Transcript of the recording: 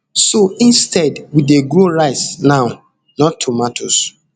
so instead we dey grow rice now not tomatoes